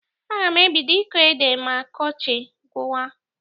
Aga m ebido ịkọ ede ma ọkọchị gwụwa.